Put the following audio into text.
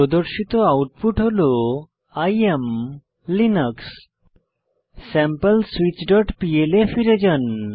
প্রদর্শিত আউটপুট হল I am Linux sample switch dot pl এ ফিরে যান